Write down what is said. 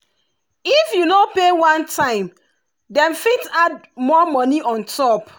if you no pay one time dem fit add more money on top.